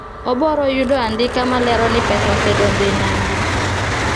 oboro yudo andika malero ni pesa osedonjo e nambi